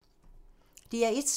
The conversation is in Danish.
DR1